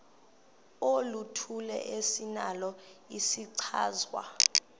oluthile esinalo isichazwa